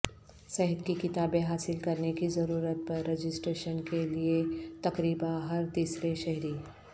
صحت کی کتابیں حاصل کرنے کی ضرورت پر رجسٹریشن کیلئے تقریبا ہر تیسرے شہری